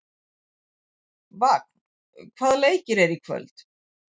Vagn, hvaða leikir eru í kvöld?